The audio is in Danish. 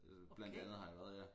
Blandt andet har jeg været dér